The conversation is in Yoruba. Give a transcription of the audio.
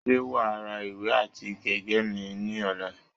Ṣé wà á ra ìwé àti gègé mìíràn ní ọ̀la?